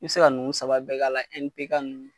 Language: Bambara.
I be se ka nunnu saba bɛɛ k'a la ,NPK nunnu.